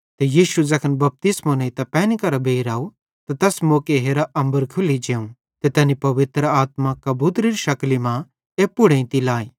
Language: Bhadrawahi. ते यीशु ज़ैखन बपतिस्मो नेइतां पैनी मरां बेइर आव त तैस मौके हेरा अम्बर खुल्ली जोवं ते तैनी पवित्र आत्मा कबूतरेरी शकली मां एप्पू पुड़ एइते लाई